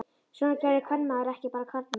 Svona gerði kvenmaður ekki, bara karlmenn.